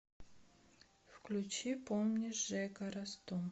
включи помнишь жека расту